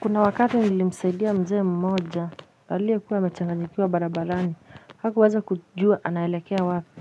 Kuna wakati nilimsaidia mzee mmoja aliekuwa amechanganyikiwa barabarani hakuweza kujua anaelekea wapi